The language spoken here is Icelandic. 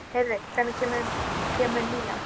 Heiðveig, hvenær kemur nían?